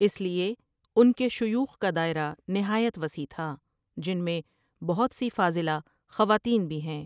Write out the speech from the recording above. اس لیے ان کے شیوخ کا دائرہ نہایت وسیع تھا ، جن میں بہت سی فاضلہ خواتین بھی ہیں۔